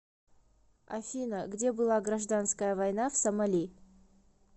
афина где была гражданская война в сомали